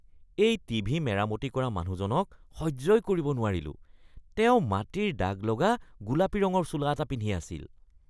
মই টিভি মেৰামতি কৰা মানুহজনক সহ্যই কৰিব নোৱাৰিলোঁ। তেওঁ মাটিৰ দাগ লগা গোলাপী ৰঙৰ চোলা এটা পিন্ধি আছিল।